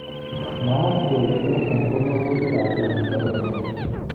Mwaat kele chotok ko mangutik ab Uingereza.